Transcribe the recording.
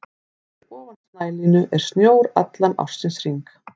Fyrir ofan snælínu er snjór allan ársins hring.